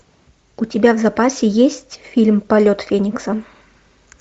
у тебя в запасе есть фильм полет феникса